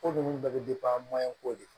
Ko ninnu bɛɛ bɛ ko de